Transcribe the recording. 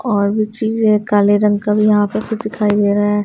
और भी चीजे है काले रंग का भी यहां पर फिर दिखाई दे रहा है।